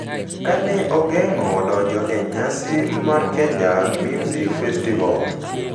Ka ne ogeng’o donjo e nyasi mar Kenya Music Festival,